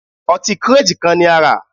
Ọtí kírètì kan ni a rà